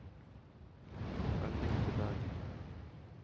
Benedicte Berget